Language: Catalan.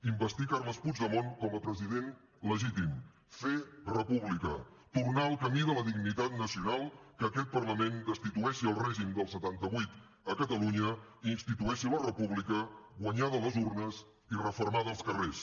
investir carles puigdemont com a president legítim fer república tornar al camí de la dignitat nacional que aquest parlament destitueixi el règim del setanta vuit a catalunya i institueixi la república guanyada a les urnes i refermada als carrers